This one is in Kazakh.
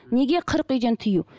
неге қырық үйден тыю